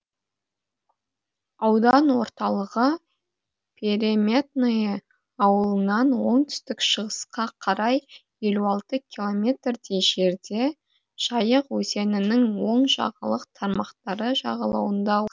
аудан орталығы переметное ауылынан оңтүстік шығысқа қарай елу алты километрдей жерде жайық өзенінің оң жағалық тармақтары жағалауында